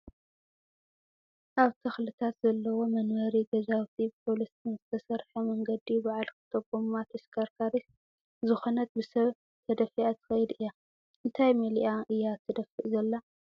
ኣብ ተክልታት ዘለዎ መንበሪ ገዛውቲብኮብልስቶ ዝተሰረሐ መንገዲ ብዓል ክልተ ጎማ ተሽከርካሪት ዝኮነት ብሰብ ተገፊኣ ትከይድ እያ። እንታይ መሊኣ እያ ትድፋእ ዘላ?